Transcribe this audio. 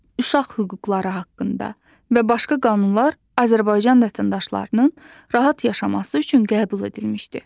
uşaq hüquqları haqqında və başqa qanunlar Azərbaycan vətəndaşlarının rahat yaşaması üçün qəbul edilmişdir.